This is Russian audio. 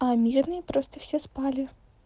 а мирные просто все спали